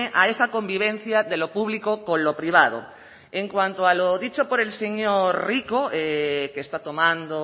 a esa convivencia de lo público con lo privado en cuanto a lo dicho por el señor rico que está tomando